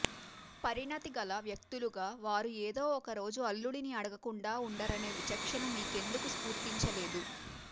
పరిణతి గల వ్యక్తులుగా వారు ఏదో ఒకరోజు అల్లుడిని అడగకుండా ఉండరనే విచక్షణ మీకెందుకు స్ఫురించలేదు